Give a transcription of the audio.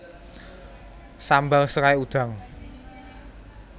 Sambal serai udang